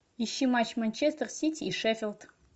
ищи матч манчестер сити и шеффилд